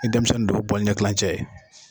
Ni denmisɛni don , o ye bɔli ɲɛlancɛ ye.